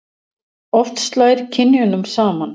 oft slær kynjunum saman